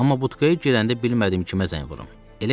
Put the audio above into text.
Amma butkaya girəndə bilmədim kimə zəng vurum.